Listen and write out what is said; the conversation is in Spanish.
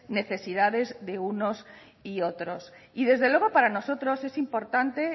necesidades de unos y otros y desde luego para nosotros es importante